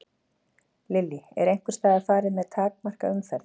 Lillý: Er einhvers staðar farið að takmarka umferð?